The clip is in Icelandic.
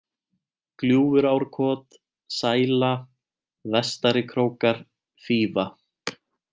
Gljúfurárkot, Sæla, Vestarikrókar, Fífa